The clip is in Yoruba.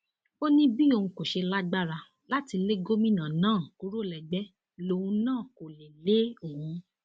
ó ní bí òun kò ṣe lágbára láti lé gómìnà náà kúrò lẹgbẹ lòun náà kó lè lé òun